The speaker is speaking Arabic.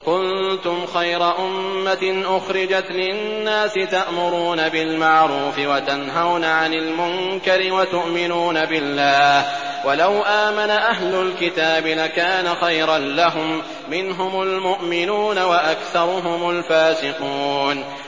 كُنتُمْ خَيْرَ أُمَّةٍ أُخْرِجَتْ لِلنَّاسِ تَأْمُرُونَ بِالْمَعْرُوفِ وَتَنْهَوْنَ عَنِ الْمُنكَرِ وَتُؤْمِنُونَ بِاللَّهِ ۗ وَلَوْ آمَنَ أَهْلُ الْكِتَابِ لَكَانَ خَيْرًا لَّهُم ۚ مِّنْهُمُ الْمُؤْمِنُونَ وَأَكْثَرُهُمُ الْفَاسِقُونَ